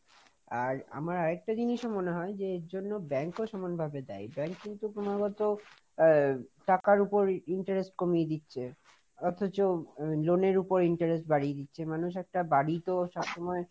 আর আমার আরেকটা জিনিসও মনে হয়, যে এর জন্য bank ও সমান ভাবে দায়ী, bank কিন্তু ক্রমাগত টাকার উপর interest কমিয়ে দিচ্ছে, অথচ loan এর উপর interest বাড়িয়ে দিচ্ছে, মানুষ একটা বাড়ি তো সব সময়,